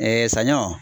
saɲɔ